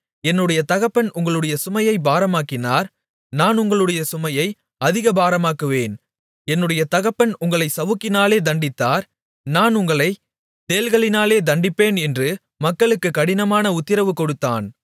என்னுடைய தகப்பன் உங்களுடைய சுமையைப் பாரமாக்கினார் நான் உங்களுடைய சுமையை அதிக பாரமாக்குவேன் என்னுடைய தகப்பன் உங்களைச் சவுக்குகளினாலே தண்டித்தார் நான் உங்களைத் தேள்களினாலே தண்டிப்பேன் என்று மக்களுக்குக் கடினமான உத்திரவு கொடுத்தான்